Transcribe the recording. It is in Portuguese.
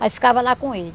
Mas ficava lá com ele.